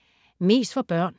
Mest for børn